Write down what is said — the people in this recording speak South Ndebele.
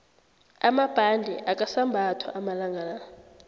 amabhande akasambathwa amalangala